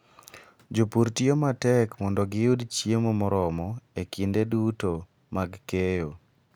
Jopur tiyo matek mondo giyud chiemo moromo e kinde duto mag keyo.